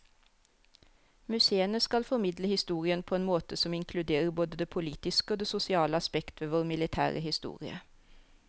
Museene skal formidle historien på en måte som inkluderer både det politiske og det sosiale aspekt ved vår militære historie.